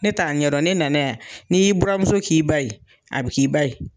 Ne t'a ɲɛ dɔn ne nana yan. N'i y'i burumuso k'i ba ye, a bɛ k'i ba ye.